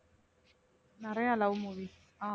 நிறைய love movies அ